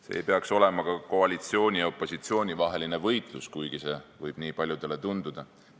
See ei peaks olema ka koalitsiooni ja opositsiooni vaheline võitlus, kuigi see võib paljudele nii tunduda.